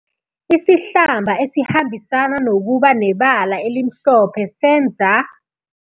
Isihlamba esihambisana nokuba nebala elimhlophe senza.